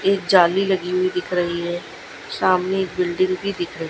एक जाली लगी हुई है दिख रही हैं सामने एक बिल्डिंग भी दिख--